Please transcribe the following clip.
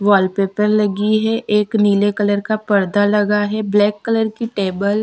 वाल पेपर लगी है एकनीले कलर का पर्दा लगा है ब्लैक कलर की टेबल --